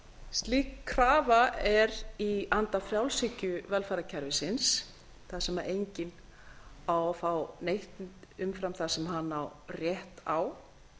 slík krafa er í anda frjálshyggjuvelferðarkerfisins þar sem enginn á að fá neitt umfram það sem hann rétt á